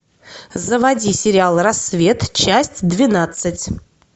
заводи сериал рассвет часть двенадцать